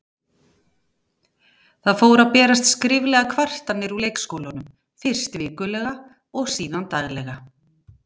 Það fóru að berast skriflegar kvartanir úr leikskólanum, fyrst vikulega og síðan daglega.